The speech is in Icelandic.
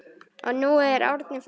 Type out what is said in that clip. Og nú er Árni farinn.